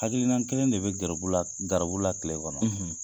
Hakilina kelen de bɛ garibu la garibu la kile kɔnɔ.